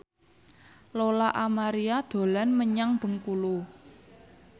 Lola Amaria dolan menyang Bengkulu